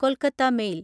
Kolkata mail